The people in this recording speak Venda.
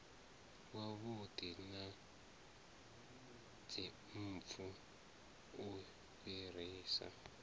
wavhuḓi na dzimpfu u fhirisa